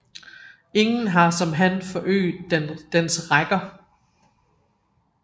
Ingen har som han forøget dens rækker